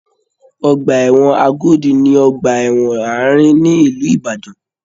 Ọgbà ẹ̀wọ̀n Agodi ni ọgbà ẹ̀wọ̀n àárín ni ìlú Ìbàdàn.